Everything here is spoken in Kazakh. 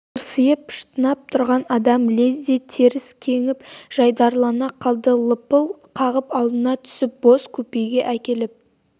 тырсиып шытынап тұрған адам лезде теріс кеңіп жайдарылана қалды лыпыл қағып алдына түсіп бос купеге әкеліп